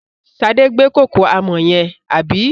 Sadé gbé kòkò àmọ̀ yẹn, àbí?